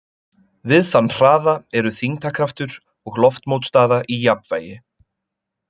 Við þann hraða eru þyngdarkraftur og loftmótstaða í jafnvægi.